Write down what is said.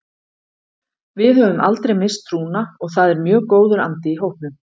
Við höfum aldrei misst trúna og það er mjög góður andi í hópnum.